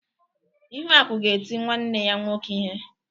Ihuaku ga-eti nwanne ya nwoke ihe.